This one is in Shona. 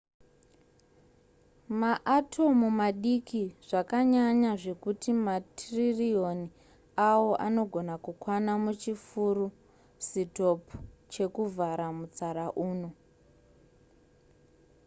maatomu madiki zvakanyanya zvekuti matiririoni awo anogona kukwana muchifuru sitopi chekuvhara mutsara uno